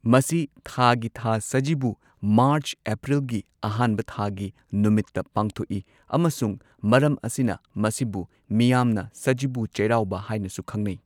ꯃꯁꯤ ꯊꯥꯒꯤ ꯊꯥ ꯁꯖꯤꯕꯨ ꯃꯥꯔꯆ ꯑꯦꯄ꯭ꯔꯤꯜ ꯒꯤ ꯑꯍꯥꯟꯕ ꯊꯥꯒꯤ ꯅꯨꯃꯤꯠꯇ ꯄꯥꯡꯊꯣꯛꯏ ꯑꯃꯁꯨꯡ ꯃꯔꯝ ꯑꯁꯤꯅ ꯃꯁꯤꯕꯨ ꯃꯤꯌꯥꯝꯅ ꯁꯖꯤꯕꯨ ꯆꯩꯔꯥꯎꯕ ꯍꯥꯏꯅꯁꯨ ꯈꯪꯅꯩ꯫